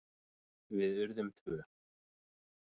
Við urðum tvö.